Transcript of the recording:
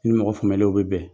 i ni mɔgɔ faamuyalenw bɛ bɛn,